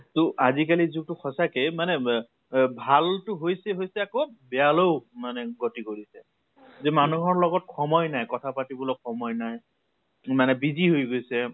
তʼ আজি কালিৰ যুগ্টো মানে সঁচাকে মানে মে ৱে ভাল টো হৈছে হৈছে আকৌ বেয়ালৈও মানে গতি কৰিছে। মানুহৰ লগত সময় নাই কথা পাতিবলৈ সময় নাই । মানে busy হৈ গৈছে